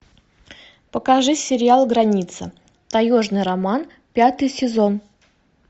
покажи сериал граница таежный роман пятый сезон